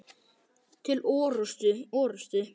Til orustu!